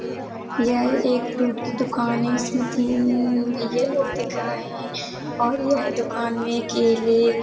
यह एक फ्रूट की दुकान है इसमे तीन न न भैया लोग दिख रहे हैं | और यह दुकान में केले--